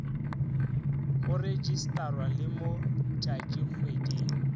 go rejistarwa le mo tšatšikgweding